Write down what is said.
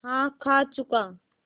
हाँ खा चुका